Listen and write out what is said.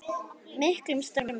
miklum stormi.